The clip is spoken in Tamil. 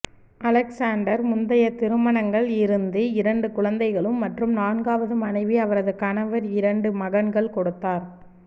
அலெக்சாண்டர் முந்தைய திருமணங்கள் இருந்து இரண்டு குழந்தைகளும் மற்றும் நான்காவது மனைவி அவரது கணவர் இரண்டு மகன்கள் கொடுத்தார்